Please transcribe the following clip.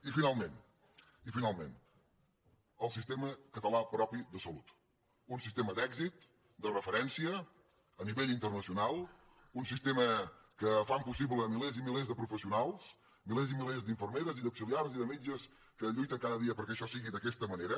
i finalment el sistema català propi de salut un sistema d’èxit de referència a nivell internacional un sistema que fan possible milers i milers de professionals milers i milers d’infermeres i d’auxiliars i de metges que lluiten cada dia perquè això sigui d’aquesta manera